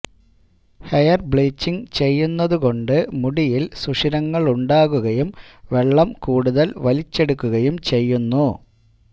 hair bleaching ചെയ്യുന്നതുകൊണ്ട് മുടിയില് സുഷിരങ്ങളുണ്ടാകുകയും വെള്ളം കൂടുതല് വലിച്ചെടുക്കുകയും ചെയ്യുന്നു